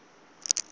iyi zwa zwino i khou